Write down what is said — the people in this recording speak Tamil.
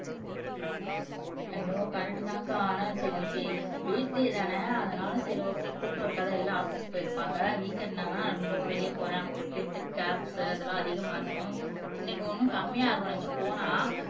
ஐயோ கரைக்ட்தான்கா ஆனா சரி இன்னைக்கு வீக் டேதானே அதனால சரி ஓகே கூட்டம் இருக்காது எல்லாம் ஆபீஸ் போயிருப்பாங்க வீக்கெண்ட் தான் ரொம்ப வெளிய போறேன் அப்படி இப்படின்னுட்டு கேப்ஸ் அதெல்லாம் அதிகமா இருக்கும் இன்னைக்கு ஒண்ணும் கம்மியாயிருக்குன்னு நெனைச்சு போனா